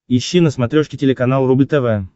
ищи на смотрешке телеканал рубль тв